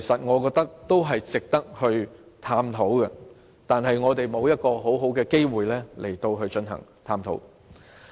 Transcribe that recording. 我覺得這些方案均值得探討，但是，我們沒有足夠的機會進行探討。